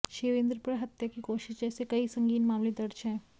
शिवेंद्र पर हत्या की कोशिश जैसे कई संगीन मामले दर्ज हैं